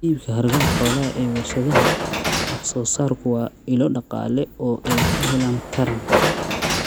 Iibka hargaha xoolaha ee warshadaha wax soo saarku waa ilo dhaqaale oo ay ka helaan taranta.